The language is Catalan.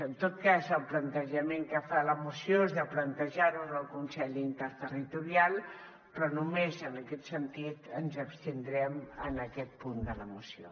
en tot cas el plantejament que fa la moció és de plantejar ho en el consell interterritorial però només en aquest sentit ens abstindrem en aquest punt de la moció